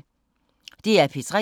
DR P3